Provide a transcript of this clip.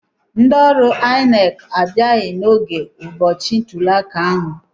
Ndị ọrụ INEC abịaghị n'oge ụbọchị ntuliaka ahụ.